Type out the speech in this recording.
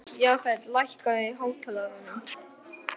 Jafet, lækkaðu í hátalaranum.